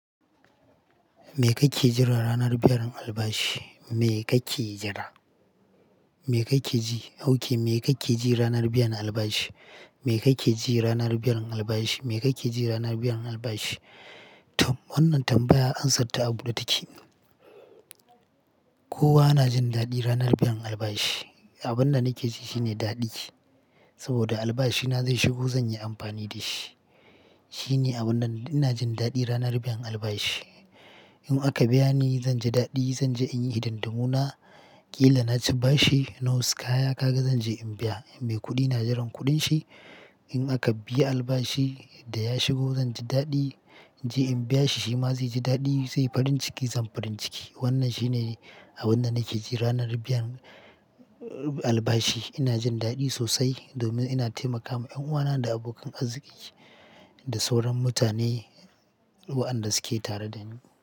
Me kake jira ranar biyan albashi? Me kake jira? Me kake ji? Ok, me kake ji ranar biyan albashi? Me kake ji ranar biyan albashi? Me kake ji ranar biyan albashi? Tam Wannan tambaya ansatta a buɗe take. Kowa na jin daɗi ranar biyan albashi. Abin da nake ji shine daɗi, saboda albashina zai shigo zan yi amfani da shi. Shine abun da ina jin daɗi ranar biyan albashi. In aka biya ni, zan ji daɗi, zan je in yi hidimuna. Ƙila na ci bashi, na wasu kaya kaga zan je in biya. Mai kuɗi na jiran kuɗin shi, in aka biya albashi da ya shigo zan ji daɗi. In je in biya shi, shi ma zai ji daɗi, zai farin ciki, zan farin ciki. Wannan shine abun da nake ji ranar biyan albashi. Ina jin daɗi sosai domin ina taimakama ƴan'uwana da abokan arziki da sauran mutane wa'anda suke tare da ni.